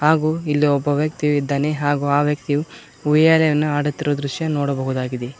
ಹಾಗು ಇಲ್ಲಿ ಒಬ್ಬ ವ್ಯಕ್ತಿಯು ಇದ್ದಾನೆ ಹಾಗು ಆ ವ್ಯಕ್ತಿಯು ಉಯ್ಯಾಲೆಯನ್ನು ಆಡುತ್ತಿರುವ ದೃಶ್ಯ ನೋಡಬಹುದಾಗಿದೆ.